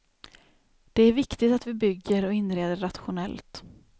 Det är viktigt att vi bygger och inreder rationellt.